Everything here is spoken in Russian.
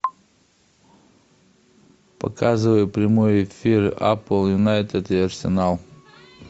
показывай прямой эфир апл юнайтед и арсенал